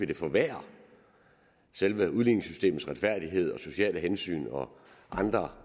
det forværrer selve udligningssystemets retfærdighed og sociale hensyn og andre